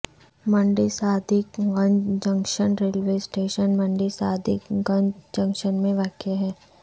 منڈی Sadiq Ganj junction railway station Mandi Sadiq Ganj junction میں واقع ہے